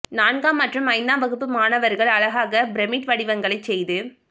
நான்காம் மற்றும் ஐந் தாம் வகுப்பு மாணவர்கள் அழகாக பிரமிட் வடிவங் களை செய்து